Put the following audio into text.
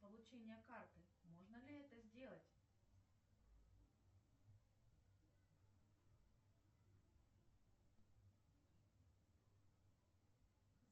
получение карты можно ли это сделать